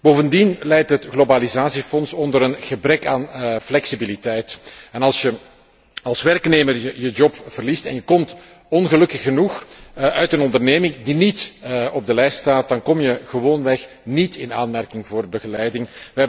Bovendien lijdt het Globalisatiefonds aan een gebrek aan flexibiliteit, en als je als werknemer je baan verliest en je komt ongelukkig genoeg uit een onderneming die niet op de lijst staat, kom je gewoonweg niet in aanmerking voor begeleiding.